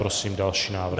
Prosím další návrh.